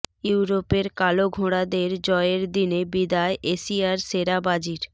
ইউরোপের কালো ঘোড়াদের জয়ের দিনে বিদায় এশিয়ার সেরা বাজির